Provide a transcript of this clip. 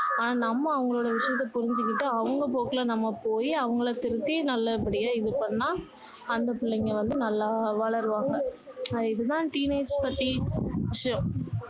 ஆனா நம்ம அவங்களோட விஷயத்தை புரிஞ்சிகிட்டு அவங்க போக்குல நம்ம் போயி அவங்கள திருத்தி நல்ல படியா இது பண்ணா அந்த பிள்ளைங்க வந்து நல்லா வளருவாங்க இது தான் teenage பத்தி விஷயம்